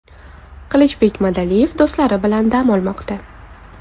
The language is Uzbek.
Qilichbek Madaliyev do‘stlari bilan dam olmoqda.